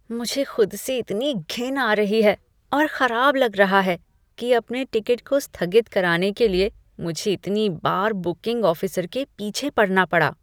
मुझे खुद से इतनी घिन आ रही है और खराब लगा रहा है कि अपने टिकट को स्थगित कराने के लिए, मुझे इतनी बार बुकिंग ऑफिसर के पीछे पड़ना पड़ा।